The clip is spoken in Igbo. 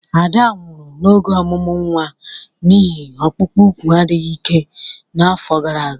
Ada nwụrụ n'oge ọmụmụ nwa n'ihi ọkpụkpụ úkwù adịghị ike n'afọ gara aga.